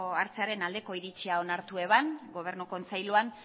hartzearen aldeko iritzia onartu eban gobernu kontseiluan